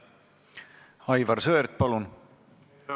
Aivar Sõerd, palun!